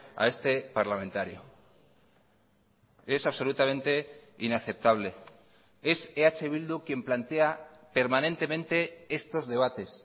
a este parlamentario es absolutamente inaceptable es eh bildu quien plantea permanentemente estos debates